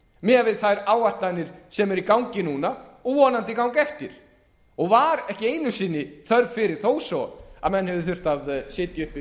við þær áætlanir sem eru í gangi núna og vonandi ganga eftir og var ekki einu sinni þörf fyrir þó svo menn hefðu þurft að sitja uppi